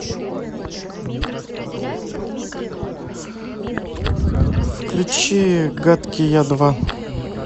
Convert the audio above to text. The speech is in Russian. включи гадкий я два